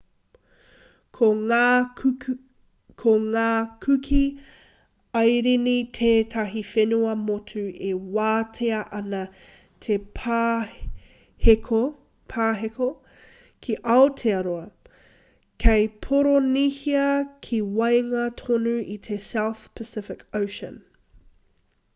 ko ngā kuki airini tētahi whenua motu e wātea ana te pāheko ki aotearoa kei poronihia ki waenga tonu i te south pacific ocean